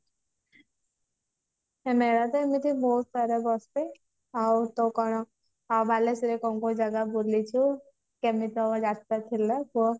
ମେଳା ତ ଏମିତି ବହୁତ ବଡ ବସେ ଆଉ ତ କଣ ବାଲେଶ୍ଵର ରେ କୋଉ କୋଉ ଜାଗା ବୁଲିଛୁ କେମିତି ଯାତ୍ରା ଥିଲା କ